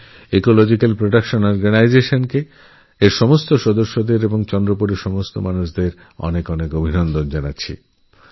আমি ecological protection organisation এর সমস্ত কর্মীকে এবং চন্দ্রপুরের সমস্ত অধিবাসীকে আমার অনেক অনেক ধন্যবাদজানাই